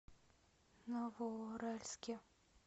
новоуральске